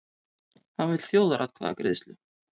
Hann vill þjóðaratkvæðagreiðslu